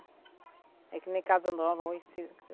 É que nem Casa Nova hoje você